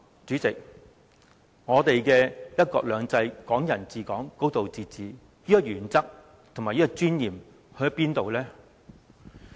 這樣，我們的"一國兩制、港人治港、高度自治"的原則和尊嚴去了哪裏？